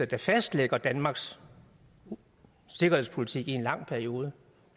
der fastlægger danmarks sikkerhedspolitik i en lang periode